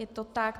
Je to tak.